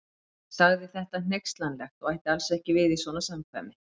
Sagði þetta hneykslanlegt og ætti alls ekki við í svona samkvæmi.